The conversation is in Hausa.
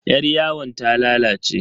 Yaryawon ta lalace.